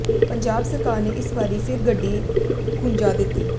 ਪੰਜਾਬ ਸਰਕਾਰ ਨੇ ਇਸ ਵਾਰੀ ਫਿਰ ਗੱਡੀ ਖੁੰਝਾ ਦਿੱਤੀ